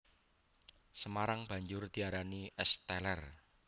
Semarang banjur diarani Es Teler